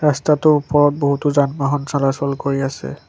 ৰাস্তাটোৰ ওপৰত বহুতো যানবাহন চলাচল কৰি আছে।